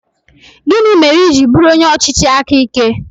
Gịnị mere i ji bụrụ onye ọchịchị aka ike?